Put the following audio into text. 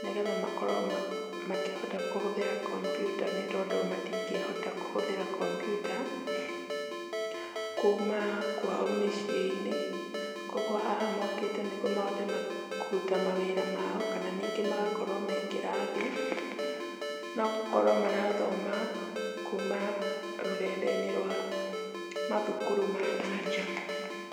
nĩgetha makorwo makĩhota kũhũthĩra computer nĩ tondũ matingĩhota kũhũthĩra computer kuma kwao mĩciĩ-inĩ, koguo haha mokĩte nĩguo mahote kũruta mawĩra mao kana ningĩ magakorwo me kĩrathi no gũkorwo marathoma kuma rũrenda-inĩ rwa mathukuru ma na nja.